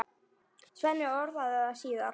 Svenni orðaði það síðar.